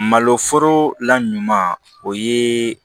Malo foro la ɲuman o ye